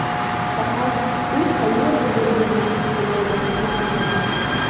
Faqat u qayerda bo‘lganini bilmaganimiz yomon.